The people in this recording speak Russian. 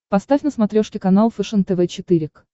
поставь на смотрешке канал фэшен тв четыре к